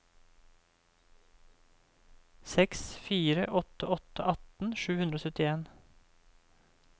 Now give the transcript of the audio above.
seks fire åtte åtte atten sju hundre og syttien